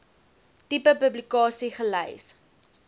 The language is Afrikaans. tipe publikasie gelys